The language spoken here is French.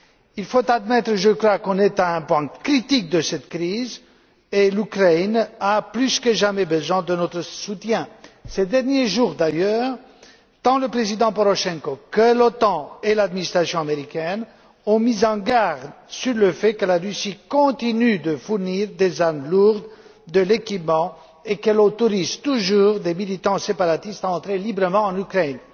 Il faut admettre, je crois, que nous sommes à un point critique de cette crise et l'Ukraine a plus que jamais besoin de notre soutien. Ces derniers jours d'ailleurs, tant le président Porochenko, que l'Otan et l'administration américaine ont mis en garde sur le fait que la Russie continue de fournir des armes lourdes, des équipements et qu'elle autorise toujours des militants séparatistes à entrer librement en Ukraine.